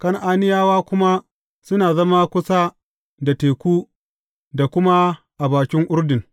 Kan’aniyawa kuma suna zama kusa da teku da kuma a bakin Urdun.